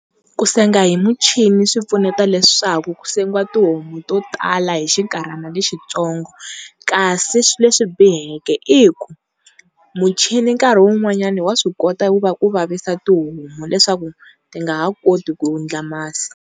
Ku senga hi muchini swi pfuneta leswaku ku sengiwa tihomu to tala hi xinkarhana lexi tsonga kasi leswi biheke i ku muchini nkarhi wun'wanyana wa swi kota ku va wu vavisa tihomu leswaku ti nga ha koti ku endla masi.